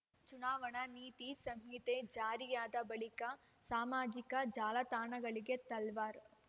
ಚುನಾವಣಾ ನೀತಿ ಸಂಹಿತೆ ಜಾರಿಯಾದ ಬಳಿಕ ಸಾಮಾಜಿಕ ಜಾಲತಾಣಗಳಿಗೆ ತಲ್ವಾರ್